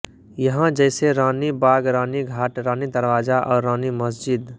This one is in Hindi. यहां जैसे रानी बाग रानी घाट रानी दरवाजा और रानी मस्जिद